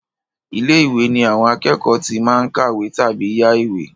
Ilé-ìwé ní àwọn akẹ́kọ̀ọ́ tí máa ń kàwé tàbí yá ìwé.